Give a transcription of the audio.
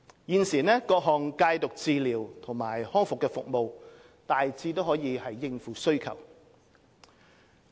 現時，各項戒毒治療和康復服務大致可應付需求。